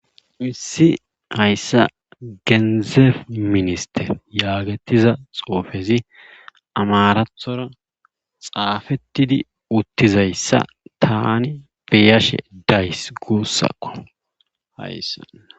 Issi hayssa genzeeb minister yaagettiza xoofezi amarathora xaafettidi uttizayssa tani beyashe days guussakko hayssa.